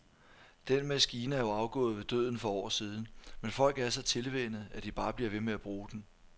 Den maskine er jo afgået ved døden for år siden, men folk er så tilvænnet, at de bare bliver ved med at bruge den.